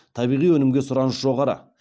табиғи өнімге сұраныс жоғары